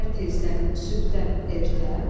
Səhər tezdən, sübhdən ertə.